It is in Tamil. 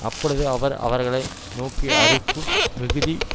அப்பொழுது அவர் அவர்களை நோக்கி அறுப்பு மிகுதி